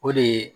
O de ye